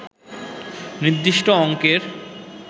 নির্দিষ্ট অঙ্কের